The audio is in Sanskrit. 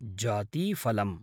जातीफलम्